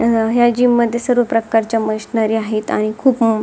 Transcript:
ह्या जीम मध्ये सर्व प्रकारच्या मशीनरी आहेत आणि खूप मो--